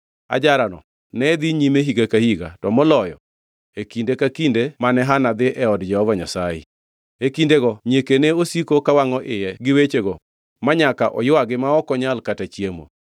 Ajarano ne dhi nyime higa ka higa, to moloyo, e kinde ka kinde mane Hana dhi e od Jehova Nyasaye. E kindego nyieke ne osiko kawangʼo iye gi wechego manyaka oywagi ma ok onyal kata chiemo.